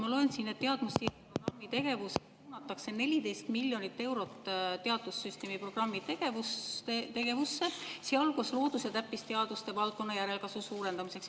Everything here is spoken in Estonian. Ma loen siin, et teadmussiirde programmi tegevuses suunatakse 14 miljonit eurot teadussüsteemi programmi tegevusse, sealhulgas loodus- ja täppisteaduste valdkonna järelkasvu suurendamiseks.